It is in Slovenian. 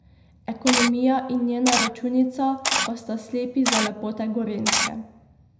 Ekonomija in njena računica pa sta slepi za lepote Gorenjske.